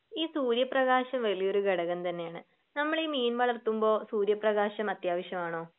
ഈ സൂര്യപ്രകാശം വലിയൊരു ഘടകം തന്നെയാണ് നമ്മളീ മീൻ വളർത്തുമ്പോ സൂര്യപ്രകാശം അത്യാവശ്യമാണോ?